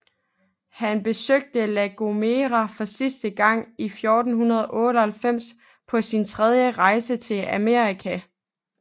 Han besøgte La Gomera for sidste gang i 1498 på sin tredje rejse til Amerika